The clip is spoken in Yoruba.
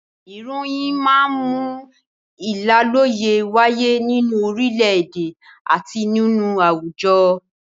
Ìròyìn máa ń mú ìlàlọ́yẹ́ wáyé nínú orílẹ̀-èdè àti nínú àwùjọ.